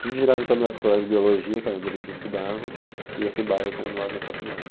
Tudo girava em torno da faculdade de biologia, que era onde eles estudavam, e esse bairro que era do lado da faculdade.